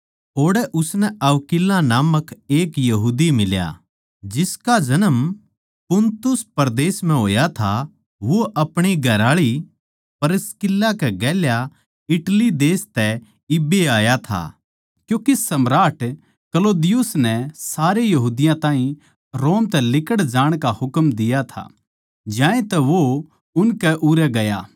ओड़ै उसनै अक्विला नामक एक यहूदी फेट्या जिसका जन्म पुन्तुस परदेस म्ह होया था वो अपणी घरआळी प्रिसकिल्ला कै गेल्या इटली देश तै इब्बै ए आया था क्यूँके सम्राट क्लौदियुस नै सारे यहूदियाँ ताहीं रोम तै लिकड़ जाण का हुकम दिया था ज्यांतै वो उनकै उरै गया